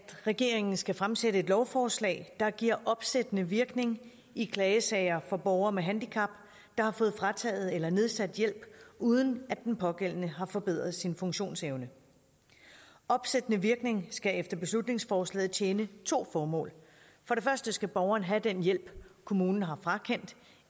regeringen skal fremsætte et lovforslag der giver opsættende virkning i klagesager for borgere med handicap der har fået frataget eller nedsat hjælp uden at den pågældende har forbedret sin funktionsevne en opsættende virkning skal efter beslutningsforslaget tjene to formål for det første skal borgeren have den hjælp kommunen har frakendt